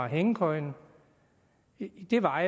hængekøjen jo var